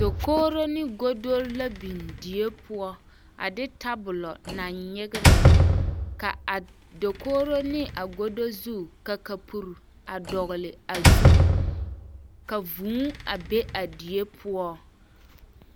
Dakogiro ne godori la biŋ die poɔ a de tabolo naŋ nyegerɛ, ka a dakogiro ne a godo zu ka kapuri a dɔgele a zu ka vūū a be a die poɔ.